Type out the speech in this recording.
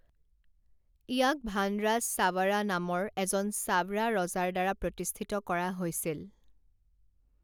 ইয়াক ভানৰাজ চাৱাড়া নামৰ এজন চাৱড়া ৰজাৰ দ্বাৰা প্ৰতিষ্ঠিত কৰা হৈছিল।